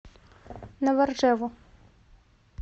новоржеву